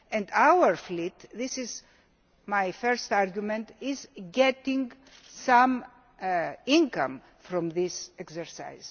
And our fleet this is my first argument is getting some income from this exercise.